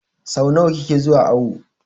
So nawa kike zuwa awo?